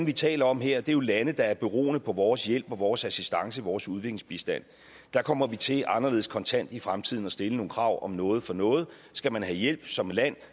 er tale om her er jo lande der er beroende på vores hjælp vores assistance og vores udviklingsbistand der kommer vi til anderledes kontant i fremtiden at stille nogle krav om noget for noget skal man have hjælp som land